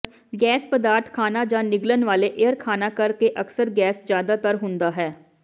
gas ਪਦਾਰਥ ਖਾਣਾ ਜਾਂ ਨਿਗਲਣ ਵਾਲੇ ਏਅਰ ਖਾਣਾ ਕਰਕੇ ਅਕਸਰ ਗੈਸ ਜ਼ਿਆਦਾਤਰ ਹੁੰਦਾ ਹੈ